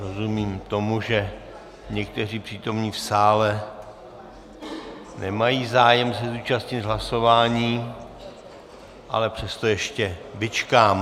Rozumím tomu, že někteří přítomní v sále nemají zájem se zúčastnit hlasování, ale přesto ještě vyčkám.